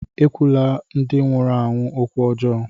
Ekwula ndị nwụrụ anwụ okwu ọjọọ!